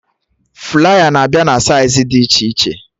Flaya na-abịa na saịz dị iche iche